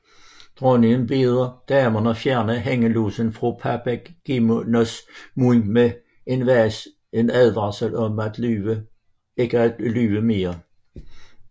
Dronningen beder damerne fjerne hængelåsen fra Papagenos mund med en advarsel om ikke at lyve mere